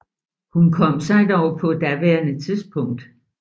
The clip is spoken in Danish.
Hun kom sig dog på daværende tidspunkt